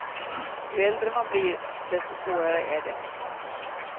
Ju äldre man blir, desto svårare är det.